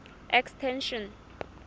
extension